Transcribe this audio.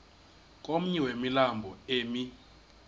komnye wemilambo emi